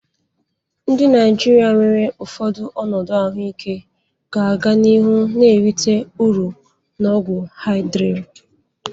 Ndị Naijiria nwere ụfọdụ ọnọdụ ahụike ga-aga n'ihu na-erite uru na ọgwụ Hydrea.